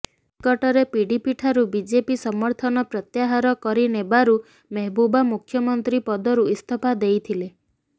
ନିକଟରେ ପିଡିପିଠାରୁ ବିଜେପି ସମର୍ଥନ ପ୍ରତ୍ୟାହାର କରି ନେବାରୁ ମେହବୁବା ମୁଖ୍ୟମନ୍ତ୍ରୀ ପଦରୁ ଇସ୍ତଫା ଦେଇଥିଲେ